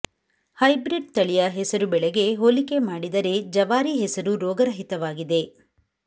hybrid ತಳಿಯ ಹೆಸರು ಬೆಳೆಗೆ ಹೋಲಿಕೆ ಮಾಡಿದರೆ ಜವಾರಿ ಹೆಸರು ರೋಗರಹಿತವಾಗಿದೆ